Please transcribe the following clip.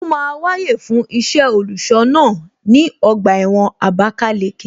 Ó máa wáyè fún iṣẹ́ olùṣọ́ náà ní ọgbà ẹ̀wọ̀n Abalaleke